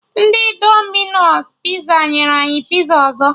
Ndị Dominos Piza nyere anyị piza ọzọ